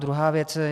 Druhá věc.